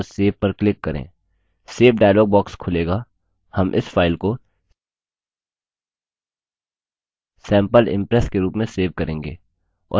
save dialog box खुलेगा हम इस फाइल को sample impress के रूप में सेव करेंगे और सेव button पर click करें